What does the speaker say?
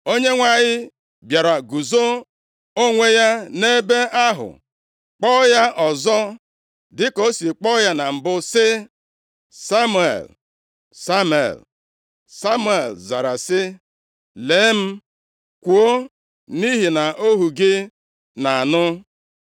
Onyenwe anyị bịara guzo onwe ya nʼebe ahụ, kpọọ ya ọzọ dịka o si kpọọ ya na mbụ sị, “Samuel! Samuel!” Samuel zara sị, “Lee m, kwuo, nʼihi na ohu gị na-anụ.”